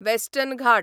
western Ghat